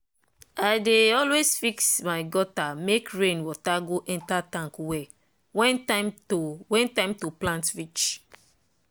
?] i dey always fix my gutter make rain water go enter tank well when time to when time to plant reach